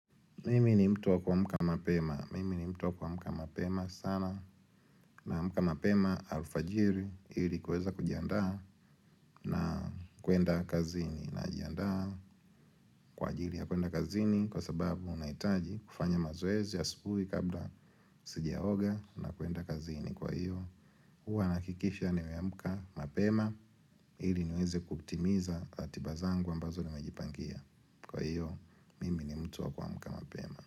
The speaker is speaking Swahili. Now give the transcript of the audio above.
Mimi ni mtu wa kuamka mapema. Mimi ni mtu wa kuamka mapema sana naamka mapema alfajiri ili kuweza kujiandaa na kuenda kazini. Najiandaa kwa ajili ya kuenda kazini kwa sababu unahitaji kufanya mazoezi asubuhi kabla sijaoga na kuenda kazini. Kwa hiyo, huwa nahakikisha nimeamka mapema ili niweze kukitimiza ratiba zangu ambazo nimejipangia. Kwa hiyo, mimi ni mtu wa kuamka mapema.